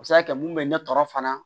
A bɛ se ka kɛ mun bɛ ne tɔɔrɔ fana